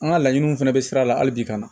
An ka laɲiniw fana bɛ sira la hali bi ka na